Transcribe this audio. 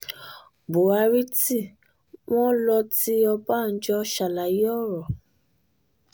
buhari tí um wọ́n lò ti ọbànjọ́ ṣàlàyé ọ̀rọ̀